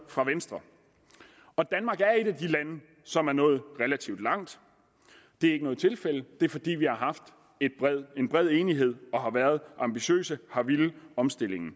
fra venstre og danmark er et af de lande som er nået relativt langt det er ikke noget tilfælde det er fordi vi har haft en bred enighed og har været ambitiøse og villet omstillingen